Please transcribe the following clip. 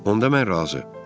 Onda mən razı.